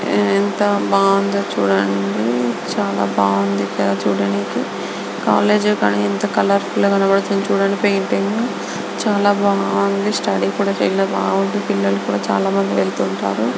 ఎంత బాగుందో చుడండి. చాలా బాగుంది చూడ్డడానికి. కాలేజీ యెంత కలర్ఫుల్ గ కనబడుతుంది. పెయింటింగ్ చాలా బాగుంది. స్టడీ కుడా బాగుంది పిల్లలు కుడా వెళ్తుంటారు